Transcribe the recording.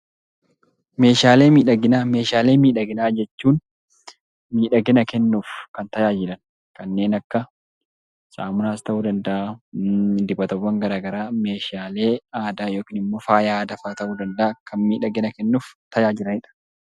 Meeshaalee miidhaginaa jechuun miidhagina kennuuf kan tajaajilan kanneen akka saamunaas ta'uu danda'aa, dibatawwaan garaa garaa fi meeshaalee aadaa yookiin faaya aadaa ta'uu danda'aa kan miidhagina kennuuf tajaajilaniidha.